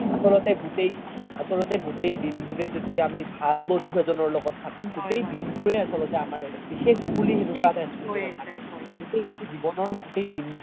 আচলতে গোতেই, আচলতে গোতেই দিন বোৰে য্দি আমি ভাল বন্ধু এজনৰ লগত থাকো সেই দিন বোৰে আচলতে আমাৰ বিশেষ বুলি সেনেকুৱা এটা স্মৃতি গোতেই জিৱ্নৰ গোতেই দিন